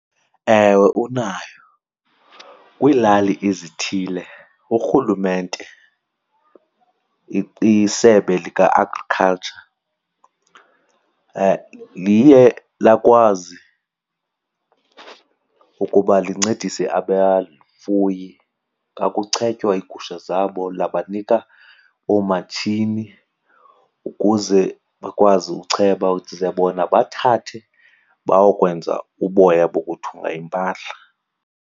Ewe, unayo. Kwiilali ezithile urhulumente isebe lika-agriculture liye lakwazi ukuba lincedise abafuyi xa kuchetywa iigusha zabo labanika oomatshini ukuze bakwazi ucheba, ze bona bathathe bayokwenza uboya bokuthunga iimpahla.